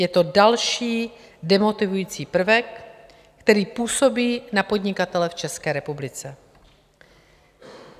Je to další demotivující prvek, který působí na podnikatele v České republice.